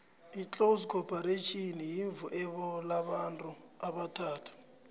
itlozi khopharetjhini yirhvuebo lamabantu abathathu